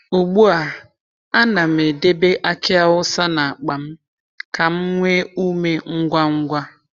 Ugbu a, a na'm edebe aki awusa n’akpa m ka m nwee ume ngwa ngwa.